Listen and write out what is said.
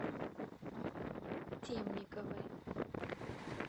темниковой